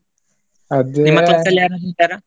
ಯಾರದ್ರೂ ಇದ್ದಾರ?